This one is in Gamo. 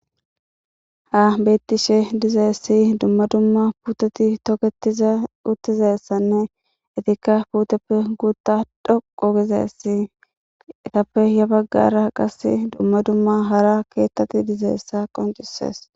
ha bettishe dizaessi dumma dumma puteti tokez uttizassanne itikka puteppe guutta dhoqo gizeess etappe ya baggara qas dumma dumma hara keettati dizaessa qoncisees